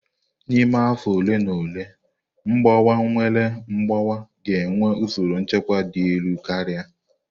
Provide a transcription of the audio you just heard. N'ime afọ ole na ole, Mgbawa-nnwale mgbawa ga-enwe usoro nchekwa dị elu karịa.